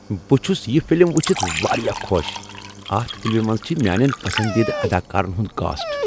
بہٕ چُھس یہِ فلم ؤچھِتھ واریاہ خۄش۔ اتھ فلمہ منٛز چھ میانین پسندیدٕ اداکارن ہُنٛد کاسٹ۔